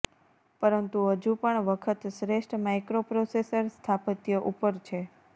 પરંતુ હજુ પણ વખત શ્રેષ્ઠ માઇક્રોપ્રોસેસર સ્થાપત્ય ઉપર છે